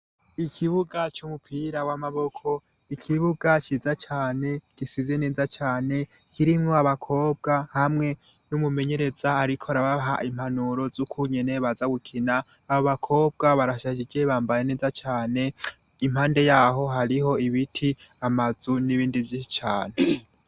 Ikibuga cumupira wamaboko ikibuga ciza cane gisize neza cane kirimwo abakobwa hamwe numumenyereza ariko arabaha impanuro zukungene bazagukina abobakobwa barashajije bambaye neza cane impande yaho hariho ibiti amazu nibindi vyinshi cane